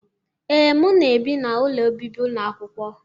Ee, m na-ebi n'ụlọ obibi ụlọ akwụkwọ.